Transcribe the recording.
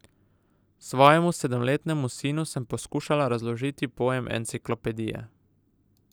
Svojemu sedemletnemu sinu sem poskušala razložiti pojem enciklopedije.